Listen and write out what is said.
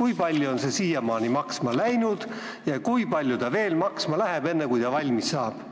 kui palju on see ehitus siiamaani maksma läinud ja kui palju ta veel maksma läheb enne, kui valmis saab?